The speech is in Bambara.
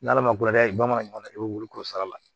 N'ala ma ko n'a ye bamanan ɲɔgɔn na i bɛ wuli k'o sara